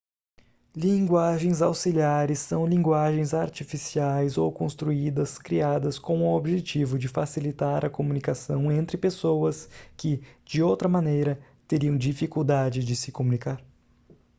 linguagens auxiliares são linguagens artificiais ou construídas criadas com o objetivo de facilitar a comunicação entre pessoas que de outra maneira teriam dificuldade de se comunicar